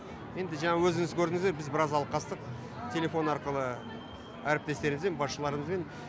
енді жаңа өзіңіз көрдіңіздер біз біраз алқастық телефон арқылы әріптестерімізбен басшыларымызбен